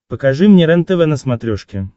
покажи мне рентв на смотрешке